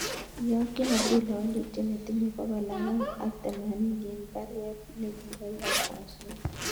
Iyokyin Abdula walutiet netinye bokol angwan ak temamini en baruet ne koiyokwon subui